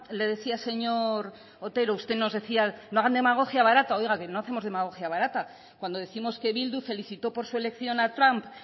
le decía señor otero usted nos decía no hagan demagogia barata oiga que no hacemos demagogia barata cuando décimos que bildu felicitó por su elección a trump